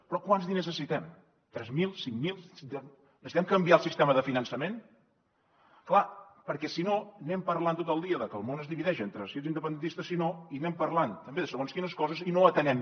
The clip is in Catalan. però quants diners necessitem tres mil cinc mil necessitem canviar el sistema de finançament clar perquè si no anem parlant tot el dia de que el món es divideix entre si ets independentista i si no i anem parlant també de segons quines coses i no atenem